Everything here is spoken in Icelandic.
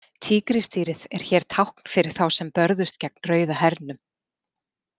Tígrisdýrið er hér tákn fyrir þá sem börðust gegn Rauða hernum.